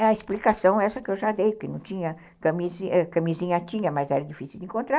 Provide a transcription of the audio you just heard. É a explicação essa que eu já dei, porque não tinha, camisinha tinha, mas era difícil de encontrar.